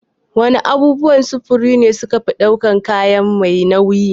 Wana abubuwan sufuri ne suke ɗaukan kaya mai nauyi?